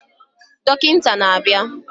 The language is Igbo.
Dọkịta na-abịa